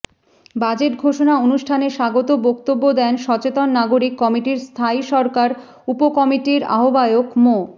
budget ঘোষণা অনুষ্ঠানে স্বাগত বক্তব্য দেন সচেতন নাগরিক কমিটির স্থানীয় সরকার উপকমিটির আহ্বায়ক মো